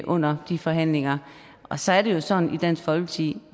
under de forhandlinger og så er det jo sådan i dansk folkeparti